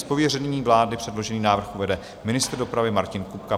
Z pověření vlády předložený návrh uvede ministr dopravy Martin Kupka.